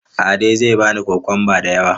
Ade zai bani kokwanba da yamma.